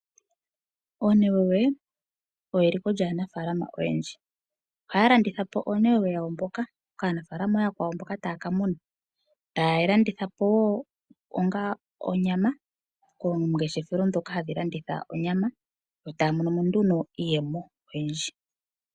Oonewewe oyo eliko lyaanafalama oyendji. Ohaya landitha po oonewewe ya wo kaanafalama ooyakwawo mboka taya kamuna, taye yi landitha po wo onga onyama koongeshefa ndhoka hadhi landitha onyama, yo taya monomo nduno iiyemo oyindji.